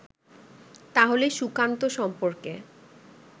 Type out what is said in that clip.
তাহলে সুকান্ত সম্পর্কে